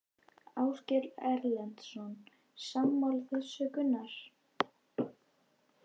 Ásgeir Erlendsson: Sammála þessu Gunnar?